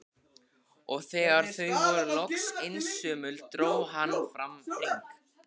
Og þegar þau voru loks einsömul dró hann fram hring.